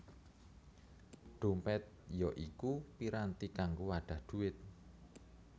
Dhompèt ya iku piranti kanggo wadhah dhuwit